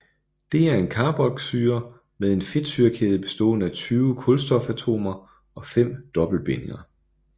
Det er en carboxylsyre med en fedtsyrekæde bestående af 20 kulstofatomer og fem dobbeltbindinger